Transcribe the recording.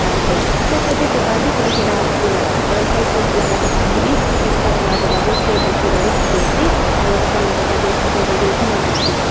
ase side side tae dukan bi khulikae na ase aro side side laka dukan tae bi ekta la dukan tae fan rakhi kaena bi dikhiase aro takhan la dukan bhitor tae toh ekuna dikhae.